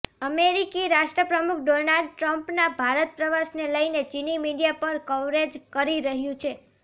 અમેરિકી રાષ્ટ્રપ્રમુખ ડોનાલ્ડ ટ્રમ્પના ભારત પ્રવાસને લઇને ચીની મીડિયા પણ કવરેજ કરી રહ્યું છે